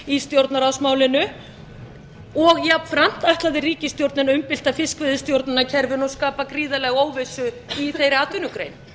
í stjórnarráðsmálinu og jafnframt ætlaði ríkisstjórnin að umbylta fiskveiðistjórnarkerfinu og skapa gríðarlega óvissu í þeirri atvinnugrein